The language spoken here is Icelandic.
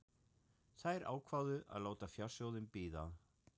Þær ákváðu að láta fjársjóðinn bíða.